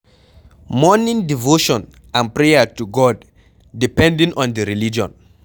Morning devotion and prayer to God, depending on di religion